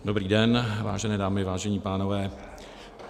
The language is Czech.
Dobrý den, vážené dámy, vážení pánové.